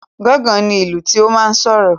Gángan ní ìlú tó máa n sọ̀rọ̀